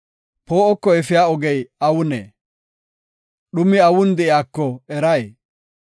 Poo7oko efiya ogey awunee? dhumi awun de7iyako eray?